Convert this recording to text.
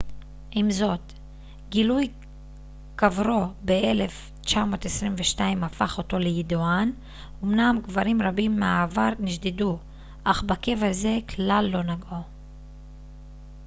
עם זאת גילוי קברו ב-1922 הפך אותו לידוען אומנם קברים רבים מהעבר נשדדו אך בקבר זה כלל לא נגעו